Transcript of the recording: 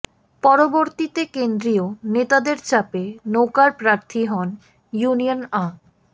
পরবর্তীতে কেন্দ্রীয় নেতাদের চাপে নৌকার প্রার্থী হন ইউনিয়ন আ